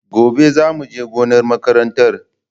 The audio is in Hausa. Gobe za mu je gonar makaranta.